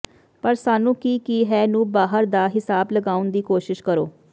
ਪਰ ਸਾਨੂੰ ਕੀ ਕੀ ਹੈ ਨੂੰ ਬਾਹਰ ਦਾ ਿਹਸਾਬ ਲਗਾਉਣ ਦੀ ਕੋਸ਼ਿਸ਼ ਕਰੋ